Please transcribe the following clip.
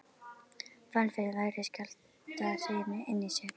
Fann fyrir vægri skjálftahrinu inni í sér.